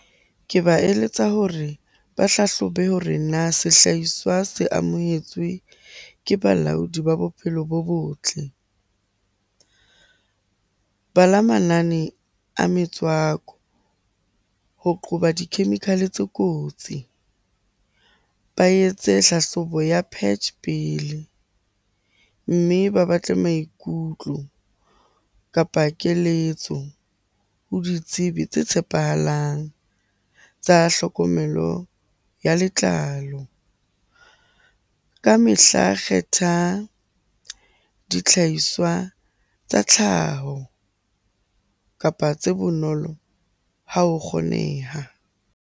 Ke ba eletsa hore ba hlahlobe hore na sehlahiswa se amohetswe ke balaodi ba bophelo bo botle? Bala manane a metswako ho qoba di-chemical-etse kotsi, ba etse tlhahlobo ya patch pele. Mme ba batle maikutlo kapa keletso ho ditsebi tse tshepahalang tsa tlhokomelo ya letlalo. Ka mehla kgetha ditlhaiswa tsa tlhaho, kapa tse bonolo ha ho kgoneha.